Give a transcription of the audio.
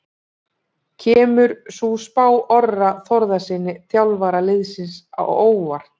Kemur sú spá Orra Þórðarsyni, þjálfara liðsins, á óvart?